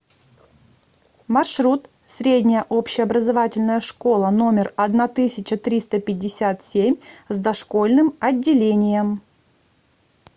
маршрут средняя общеобразовательная школа номер одна тысяча триста пятьдесят семь с дошкольным отделением